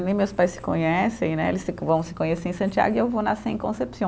Nem meus pais se conhecem né, eles se vão se conhecer em Santiago e eu vou nascer em Concepción.